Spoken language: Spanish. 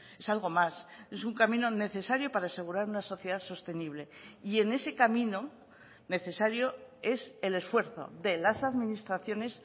es algo más es un camino necesario para asegurar una sociedad sostenible y en ese camino necesario es el esfuerzo de las administraciones